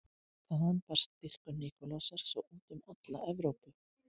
Þaðan barst dýrkun Nikulásar svo út um alla Evrópu.